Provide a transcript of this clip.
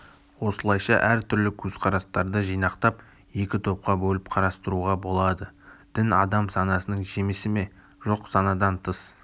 осылайша әр түрлі көзқарастарды жинақтап екі топқа бөліп карастыруға болады дін адам санасының жемісі ме жоқ санадан тыс